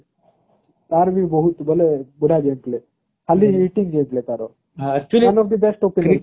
ତାର ବି ବହୁତ ବୋଇଲେ ଖାଲି ତାର one of the best